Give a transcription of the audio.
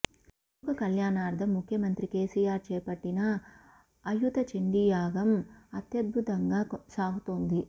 లోక కల్యాణార్థం ముఖ్యమంత్రి కేసీఆర్ చేపట్టిన అయుత చండీయాగం అత్యద్భుతంగా సాగుతోంది